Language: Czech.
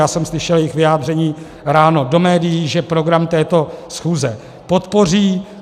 Já jsem slyšel jejich vyjádření ráno do médií, že program této schůze podpoří.